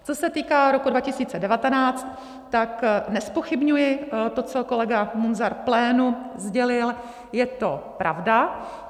Co se týká roku 2019, tak nezpochybňuji to, co kolega Munzar plénu sdělil, je to pravda.